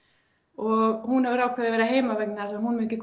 og hún hefur ákveðið að vera heima vegna þess að hún myndi